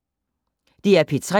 DR P3